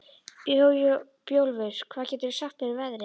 Bjólfur, hvað geturðu sagt mér um veðrið?